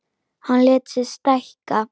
Hann lét sig stækka.